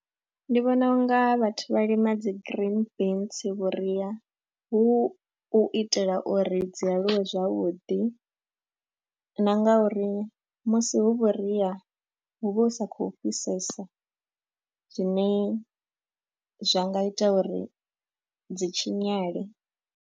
Ndi vhona u nga vhathu vha lima dzi green beans vhuria hu u itela uri dzi aluwe zwavhuḓi na nga uri musi hu vhuria hu vha hu sa khou fhisesa zwine zwa nga ita uri dzi tshinyale.